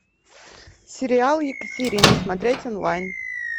сериал екатерина смотреть онлайн